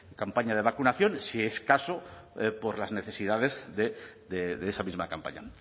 campaña de vacunaciones si es caso por las necesidades de esa misma campaña